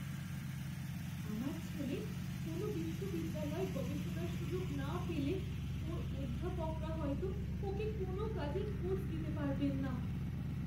আমার ছেলে কোনও বিশ্ববিদ্যালয়ে গবেষণার সুযোগ না পেলে, ওর অধ্যাপকরা হয়তো ওকে কোনও কাজের খোঁজ দিতে পারবেন না।